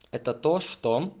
это то что